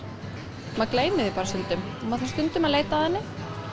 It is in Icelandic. maður gleymir því bara stundum og þarf stundum að leita að henni